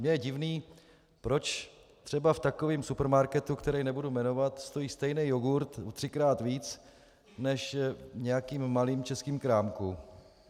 Mně je divné, proč třeba v takovém supermarketu, který nebudu jmenovat, stojí stejný jogurt třikrát víc než v nějakém malém českém krámku.